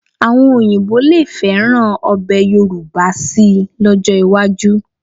Àwọn Òyìnbó lè fẹ́ràn ọbẹ̀ Yorùbá síi lọ́jọ́ iwájú